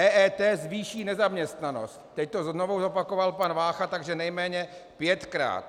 EET zvýší nezaměstnanost - teď to znovu zopakoval pan Vácha, takže nejméně pětkrát.